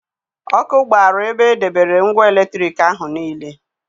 Ọkụ gbara ebe e debere ngwa eletriki ahụ niile.